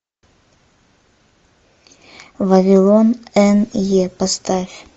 вавилон эн е поставь